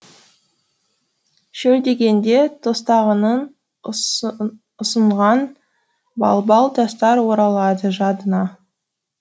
шөлдегенде тостағанын ұсынған балбал тастар оралады жадыңа